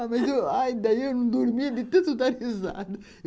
Ah, mas aí eu não dormia de tanto dar risada